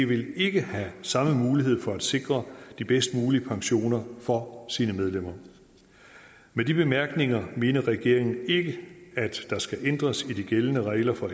vil ikke have samme mulighed for at sikre de bedst mulige pensioner for sine medlemmer med de bemærkninger mener regeringen ikke at der skal ændres i de gældende regler for